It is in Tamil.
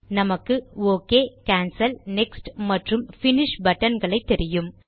நமக்கு ஒக் கேன்சல் நெக்ஸ்ட் மற்றும் பினிஷ் buttonகளை தெரியும்